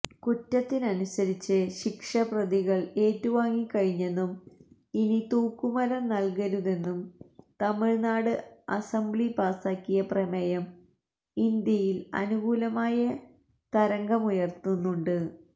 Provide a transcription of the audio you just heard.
കുറ്റത്തിനനുസരിച്ച ശിക്ഷ പ്രതികള് ഏറ്റുവാങ്ങിക്കഴിഞ്ഞെന്നും ഇനി തൂക്കുമരം നല്കരുതെന്നും തമിഴ്നാട് അസംബ്ലി പാസ്സാക്കിയ പ്രമേയം ഇന്ത്യയില് അനുകൂലമായ തരംഗമുയര്ത്തുന്നുണ്ട്